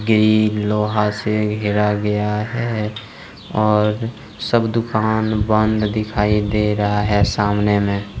ई लोहा से घिरा गया है और सब दुकान बंद दिखाई दे रहा है सामने में--